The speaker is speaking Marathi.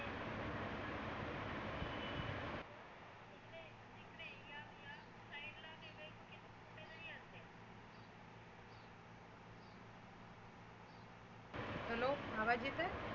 hello आवाज येतय?